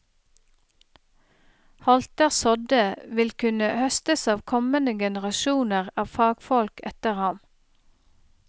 Holter sådde, vil kunne høstes av kommende generasjoner av fagfolk etter ham.